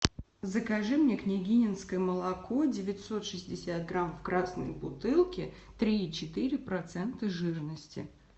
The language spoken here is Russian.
закажи мне княгининское молоко девятьсот шестьдесят грамм в красной бутылке три и четыре процента жирности